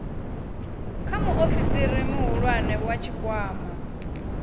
kha muofisi muhulwane wa tshikwama